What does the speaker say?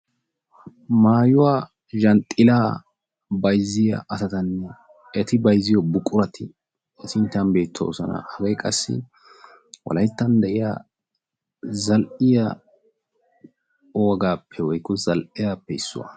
Maayuwa yanxxilla bayzziya asattanne etti bayzziyo etti wolayttan de'iya zal'iyaa wogaappe issuwaa.